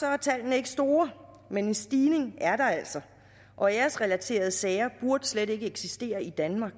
er tallene ikke store men en stigning er der altså og æresrelaterede sager burde slet ikke eksistere i danmark